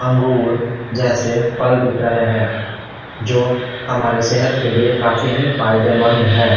अंगूर जैसे फल दिख रहे हैं जो हमारे सेहत के लिए काफी ही फायदेमंद है।